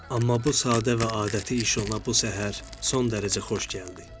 Amma bu sadə və adəti iş ona bu səhər son dərəcə xoş gəldi.